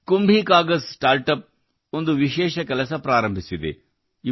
ಕುಂಭೀ Kagaz Kumbhi Kagaz start up ಒಂದು ವಿಶೇಷ ಕೆಲಸ ಪ್ರಾರಂಭಿಸಿದೆ